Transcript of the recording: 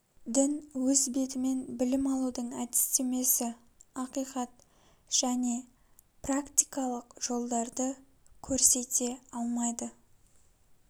дін өз бетімен білім алудың әдістемесі ақиқат және практикалық жолдарды көрсете алмайды